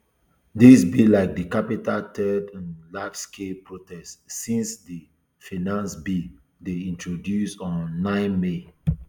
dis be like di capital third um largescale protest since di finance bill dey introduced on um nine may